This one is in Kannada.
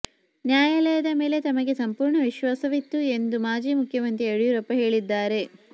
ನ್ಯಾಯಾಲಯದ ಮೇಲೆ ತಮಗೆ ಸಂಪೂರ್ಣ ವಿಶ್ವಾಸವಿತ್ತು ಎಂದು ಮಾಜಿ ಮುಖ್ಯಮಂತ್ರಿ ಯಡಿಯೂರಪ್ಪ ಹೇಳಿದ್ದಾರೆ